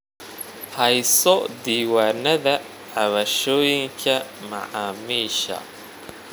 Hayso diiwaanada cabashooyinka macaamiisha.